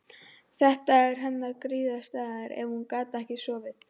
Þetta var hennar griðastaður ef hún gat ekki sofið.